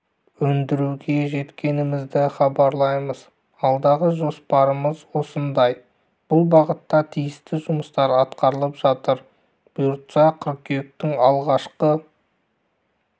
өндіруге жеткенімізді хабарлаймыз алдағы жоспарымыз осындай бұл бағытта тиісті жұмыстар атқарылып жатыр бұйыртса қыркүйектің алғашқы